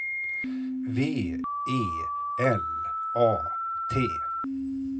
V E L A T